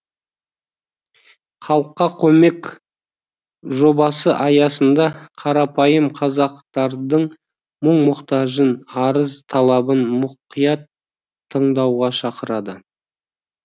халыққа көмек жобасы аясында қарапайым қазақтардың мұң мұқтажын арыз талабын мұқият тыңдауға шақырады